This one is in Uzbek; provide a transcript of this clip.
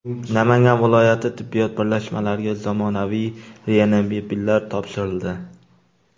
Namangan viloyati tibbiyot birlashmalariga zamonaviy reanimobillar topshirildi.